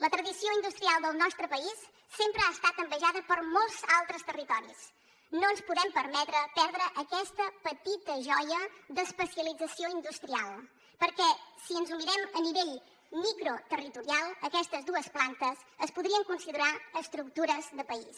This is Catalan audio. la tradició industrial del nostre país sempre ha estat envejada per molts altres territoris no ens podem permetre perdre aquesta petita joia d’especialització industrial perquè si ens ho mirem a nivell microterritorial aquestes dues plantes es podrien considerar estructures de país